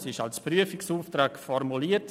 Diese war als Prüfungsauftrag formuliert.